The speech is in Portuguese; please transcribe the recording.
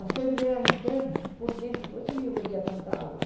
A febre era interna, por dentro, por isso que eu bebia tanta água.